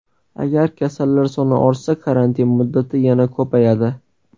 Agar kasallar soni ortsa, karantin muddati yana ko‘payadi.